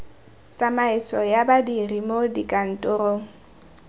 tsamaiso ya badiri mo dikantorong